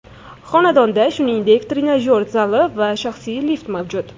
Xonadonda, shuningdek trenajyor zali va shaxsiy lift mavjud.